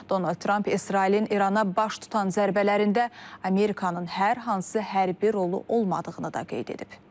Donald Tramp İsrailin İrana baş tutan zərbələrində Amerikanın hər hansı hərbi rolu olmadığını da qeyd edib.